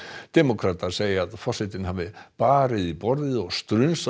demókratar segja að forsetinn hafi barið í borðið og